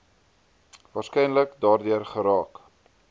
waarskynlik daardeur geraak